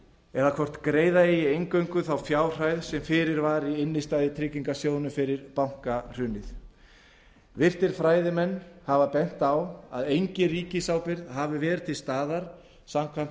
eða hvort greiða eigi eingöngu þá fjárhæð sem fyrir var í innstæðutryggingarsjóðnum fyrir bankahrunið en virtir fræðimenn hafa bent á að engin ríkisábyrgð hafi verið til staðar samkvæmt